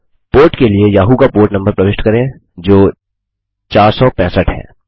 port के लिए Yahoo का पोर्ट नम्बर प्रविष्ट करें जो 465 है